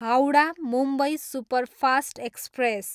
Howrah, Mumbai superfast express